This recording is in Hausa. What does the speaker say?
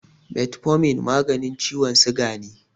Metfomin maganin ciwon siga ne.